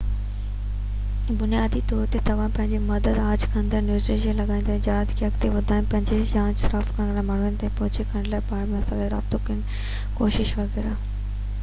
بنيادي طور تي توهان پنهنجي مدد آڇ ڪندڙ نوٽيسز لڳائيندا جهاز کي اڳتي وڌائڻ پنهنجي ياچ صاف ڪرڻ لاءِ مانهن تائين پهچ ڪرڻ بار ۾ ملاح سان رابطو ڪرڻ جي ڪوشش وغيره